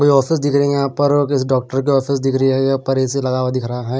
कोई ऑफिस दिख रही है यहाँ पर किस डॉक्टर की ऑफिस दिख रही है ये ऊपर पर ए_सी लगा हुआ दिख रहा है।